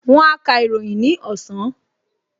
Wón á ka ìròyìn ní ọ̀sán